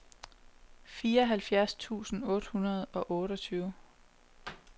fireoghalvfjerds tusind tre hundrede og otteogtyve